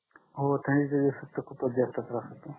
हो थंडीच्या दिवसात तर खूपच बेकार त्रास होतो